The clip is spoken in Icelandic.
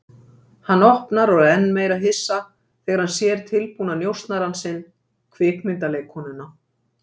Hann opnar og er enn meira hissa þegar hann sér tilbúna njósnarann sinn, kvikmyndaleikkonuna.